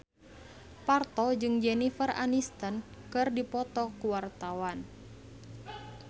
Parto jeung Jennifer Aniston keur dipoto ku wartawan